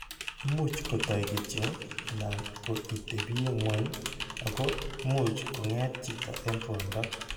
Imuch kotoi kityo anan ko itepye ng'weny ako much kong'eet chito eng' ruondo.